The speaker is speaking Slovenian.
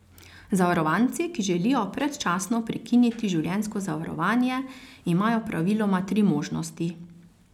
Zavarovanci, ki želijo predčasno prekiniti življenjsko zavarovanje, imajo praviloma tri možnosti.